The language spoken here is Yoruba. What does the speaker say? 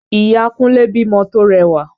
Ìya Kúnlé bímọ to rẹwà